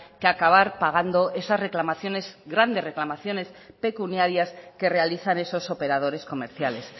que acabar pagando esas reclamaciones grandes reclamaciones pecuniarias que realizan esos operadores comerciales